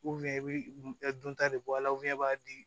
i bɛ dunta de bɔ a la i b'a di